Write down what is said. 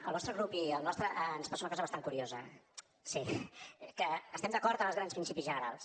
al vostre grup i al nostre ens passa una cosa bastant curiosa sí que estem d’acord en els grans principis generals